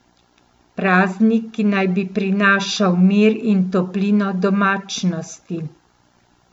Praznik, ki naj bi prinašal mir in toplino domačnosti.